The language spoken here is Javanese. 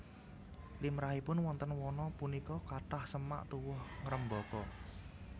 Limrahipun wonten wana punika kathah semak tuwuh ngrembaka